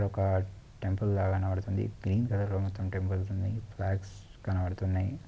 ఇది ఒక టెంపుల్ లాగా కనబడ్తుంది గ్రీన్ కలర్ లో మొత్తం టెంపుల్స్ ఉంది ఫ్లాగ్స్ కనబడుతున్నాయ్.